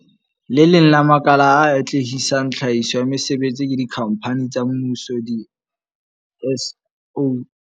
Le leng la makala a atlehisang tlhahiso ya mesebetsi ke dikhampani tsa mmuso, di-SOE.